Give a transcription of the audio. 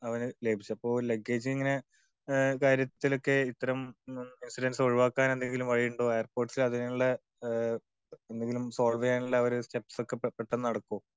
അവന് ലഭിച്ചത് അപ്പോ ല്ഗഗേജ് ഇങ്ങനെയുള്ള കാര്യത്തിലൊക്കെ ഇത്തരം ഇൻസിഡന്റ്റ്സ് ഒഴിവാക്കാൻ എന്തെങ്കിലും വഴിയുണ്ടോ? എയർപോർട്ട്സിൽ അതിനുള്ള, എന്തെങ്കിലും സോൾവ് ചെയ്യാനുള്ള ഒരു സ്റ്റെപ്സ് ഒക്കെ പെട്ടന്ന് നടക്കോ?